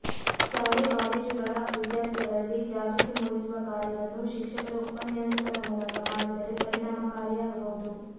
ಶಾಲೆ ಕಾಲೇಜುಗಳ ವಿದ್ಯಾರ್ಥಿಗಳಲ್ಲಿ ಜಾಗೃತಿ ಮೂಡಿಸುವ ಕಾರ್ಯವನ್ನು ಶಿಕ್ಷಕರ ಉಪನ್ಯಾಸಕರ ಮೂಲಕ ಮಾಡಿದರೆ ಪರಿಣಾಮಕಾರಿಯಾಗಬಹುದು